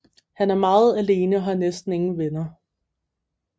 Han er meget alene og har næsten ingen venner